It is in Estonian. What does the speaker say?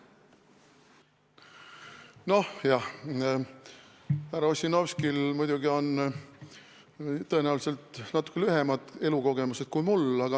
Nojah, härra Ossinovskil on tõenäoliselt natuke vähem elukogemust kui minul.